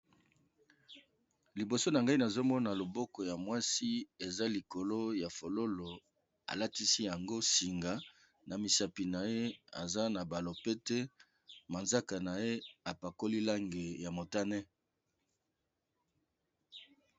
Liboso na ngai nazomona loboko ya mwasi eza likolo ya fololo alatisi yango singa na misapi na ye aza na ba lopete manzaka na ye apakoli lange ya motane.